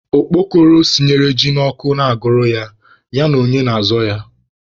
Okpokoro sinyere ji n'ọkụ na-agụrụ ya, ya na onye na-azọ ya?